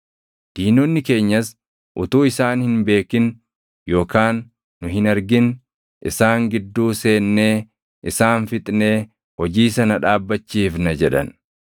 Diinonni keenyas, “Utuu isaan hin beekin yookaan nu hin argin isaan gidduu seennee isaan fixnee hojii sana dhaabbachiifna” jedhan.